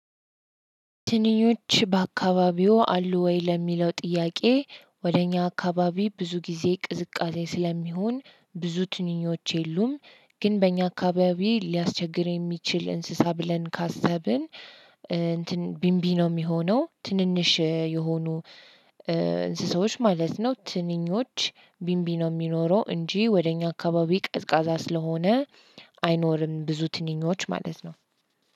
ትንኞች በአካባቢዎ አሉ ወይ? ለሚለው ጥያቄ ወደ እኛ አካባቢ ብዙ ጊዜ ቅዝቃዜ ስለሚሆን ብዙ ትንኞች የሉም ግን በእኛ አካባቢ ሊያስቸግር የሚችል እንስሳ ብለን ካሰብን እንትን ቢምቢ ነው የሚሆነው ትንንሽ የሆኑ እንስሳዎች ማለት ነው ትንኞች ቢንቢ ነው የሚኖረው እንጂ ወደ እኛ አካባቢ ቀዝቃዛ ስለሆነ አይኖርም ብዙ ትንኞች ማለት ነው።